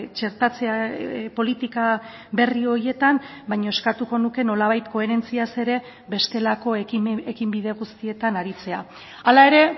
txertatzea politika berri horietan baina eskatuko nuke nolabait koherentziaz ere bestelako ekinbide guztietan aritzea hala ere